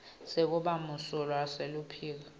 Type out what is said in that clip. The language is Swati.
sekuba msulwa seluphiko